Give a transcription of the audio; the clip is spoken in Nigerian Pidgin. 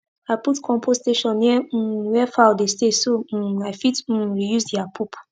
i put compost station near um where fowl dey stay so um i fit um reuse their poop